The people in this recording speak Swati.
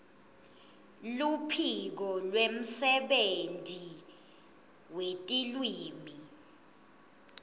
luphiko lwemsebenti wetilwimi